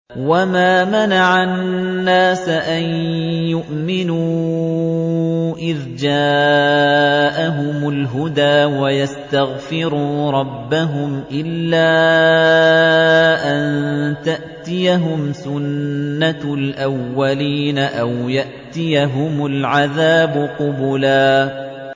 وَمَا مَنَعَ النَّاسَ أَن يُؤْمِنُوا إِذْ جَاءَهُمُ الْهُدَىٰ وَيَسْتَغْفِرُوا رَبَّهُمْ إِلَّا أَن تَأْتِيَهُمْ سُنَّةُ الْأَوَّلِينَ أَوْ يَأْتِيَهُمُ الْعَذَابُ قُبُلًا